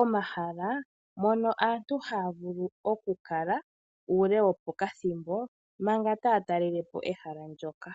omahala mono aantu haya vulu oku kala uule wo pakathimbo manga taya talele po ehala ndyoka.